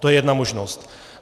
To je jedna možnost.